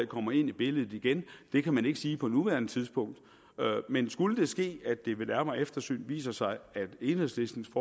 kommer ind i billedet igen det kan man ikke sige på nuværende tidspunkt men skulle det ske at det ved nærmere eftersyn viser sig at enhedslistens